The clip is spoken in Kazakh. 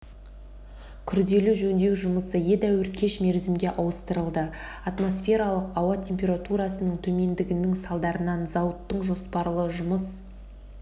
күрделі жөндеу жұмысы едәуір кеш мерзімге ауыстырылды атмосфералық ауа температурасының төмендігінің салдарынан зауыттың жоспарлы жұмыс